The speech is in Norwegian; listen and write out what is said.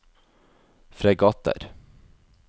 fregatter